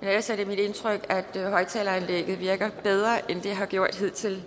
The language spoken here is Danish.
men ellers er det mit indtryk at højtaleranlægget virker bedre end det har gjort hidtil